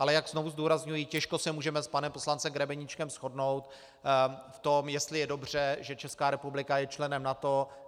Ale jak znovu zdůrazňuji, těžko se můžeme s panem poslancem Grebeníčkem shodnout v tom, jestli je dobře, že Česká republika je členem NATO.